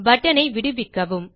button ஐ விடுவிக்கவும்